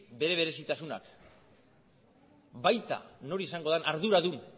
bere berezitasunak baita nor izango den arduradun